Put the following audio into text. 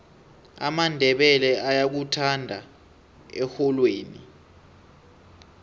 amandebele ayakuthanda erholweni